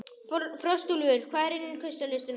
Frostúlfur, hvað er á innkaupalistanum mínum?